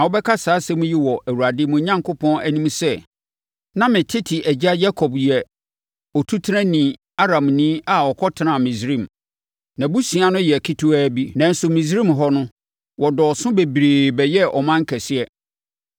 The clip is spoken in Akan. Na wobɛka saa nsɛm yi wɔ Awurade, mo Onyankopɔn, anim sɛ, “Na me tete agya Yakob yɛ otutenani Aramni a ɔkɔtenaa Misraim. Nʼabusua no yɛ ketewaa bi, nanso Misraim hɔ no, wɔdɔɔso bebree bɛyɛɛ ɔman kɛseɛ.